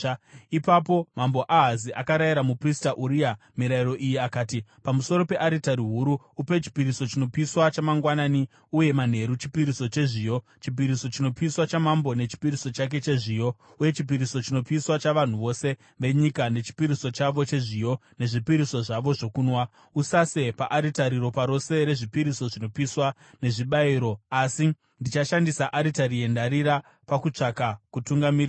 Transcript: Ipapo Mambo Ahazi akarayira muprista Uria mirayiro iyi akati, “Pamusoro pearitari huru, upe chipiriso chinopiswa chamangwanani, uye manheru chipiriso chezviyo, chipiriso chinopiswa chamambo nechipiriso chake chezviyo, uye chipiriso chinopiswa chavanhu vose venyika, nechipiriso chavo chezviyo, nezvipiriso zvavo zvokunwa. Usase paaritari, ropa rose rezvipiriso zvinopiswa nezvibayiro. Asi ndichashandisa aritari yendarira pakutsvaka kutungamirirwa.”